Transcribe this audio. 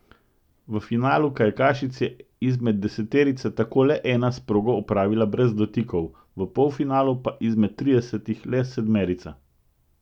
V finalu kajakašic je izmed deseterice tako le ena s progo opravila brez dotikov, v polfinalu pa izmed tridesetih le sedmerica.